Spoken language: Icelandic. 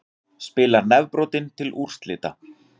Spilar nefbrotinn til úrslita